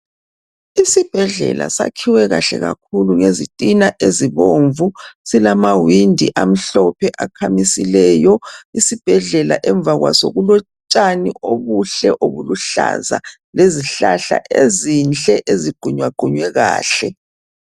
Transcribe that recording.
Isibhedlela sakhiwe kahle kakhulu ngezitina ezibomvu. Silamawindi amhlophe akhamisileyo. Isibhedlela emva kwaso kulotshani obuhle obuluhlaza lezihlahla ezinhle eziqunyaqunywe kahle.